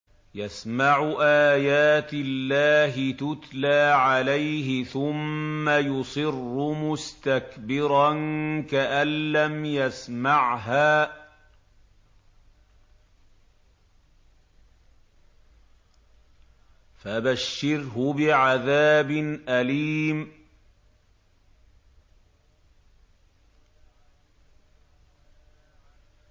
يَسْمَعُ آيَاتِ اللَّهِ تُتْلَىٰ عَلَيْهِ ثُمَّ يُصِرُّ مُسْتَكْبِرًا كَأَن لَّمْ يَسْمَعْهَا ۖ فَبَشِّرْهُ بِعَذَابٍ أَلِيمٍ